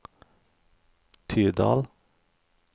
Tydal